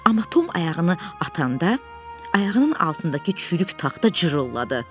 Amma Tom ayağını atanda ayağının altındakı çürük taxta cırıldı.